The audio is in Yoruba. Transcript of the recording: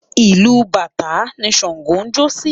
Ìlù bàtá ni Ṣàǹgó ń jó sí.